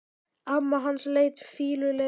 Amma hans leit fýlulega á hann.